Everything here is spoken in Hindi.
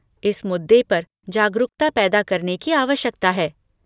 इस मुद्दे पर जागरूकता पैदा करने की आवश्यकता है।